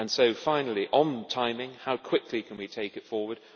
And so, finally, on timing how quickly can we take it forward?